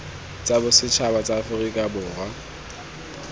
tsa bosetšhaba tsa aforika borwa